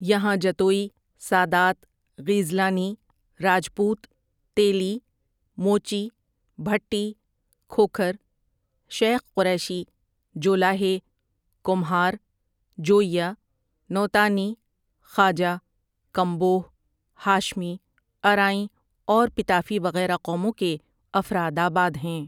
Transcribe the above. یہاں جتوئی ، سادات، غیز لانی، راجپوت، تیلی، موچی، بھٹی، کھوکھر، شیخ قریشی، جولاہے، کمہار، جوئیہ، نوتانی، خواجہ ، کمبوہ ، ہاشمی ، ارائیں اور پتافی وغیرہ قوموں کے افراد آباد ہیں ۔